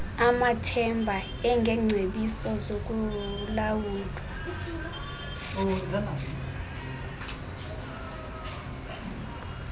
amathemba engengcebiso zokulawulwa